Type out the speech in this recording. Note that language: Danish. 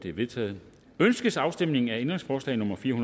er vedtaget ønskes afstemning om ændringsforslag nummer fire